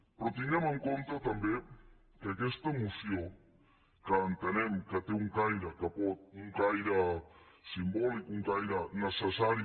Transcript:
però tinguem en compte també que aquesta moció que entenem que té un caire simbòlic un caire necessari